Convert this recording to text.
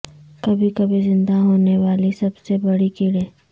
کبھی کبھی زندہ ہونے والی سب سے بڑی کیڑے